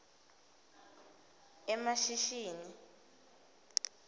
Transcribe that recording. emashishini